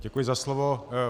Děkuji za slovo.